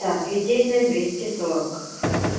так литейная двести сорок